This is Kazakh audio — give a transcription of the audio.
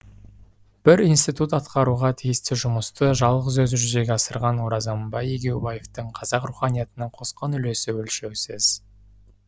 бір институт атқаруға тиісті жұмысты жалғыз өзі жүзеге асырған оразамбай егеубаевтың қазақ руханиятына қосқан үлесі өлшеусіз